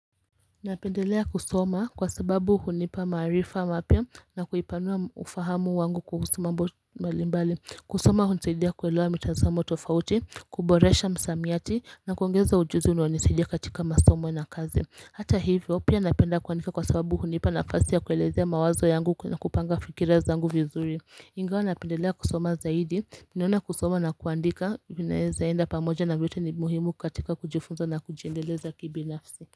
Napendelea kusoma kwa sababu hunipa maarifa mapya na kuipanua ufahamu wangu kuhusumambo mbali mbali kusoma hunisaidia kuelewa mitazamo tofauti kuboresha msamiati na kuongeza ujuzi unaonisaidia katika masomo na kazi hata hivyo pia napenda kuandika kwa sababu hunipa na fasi ya kuelezea mawazo yangu na kupanga fikirazangu vizuri ingawa napendelea kusoma zaidi naona kusoma na kuandika vinawezaenda pamoja na vyote ni muhimu katika kujifunza na kujiendeleza kibinafsi.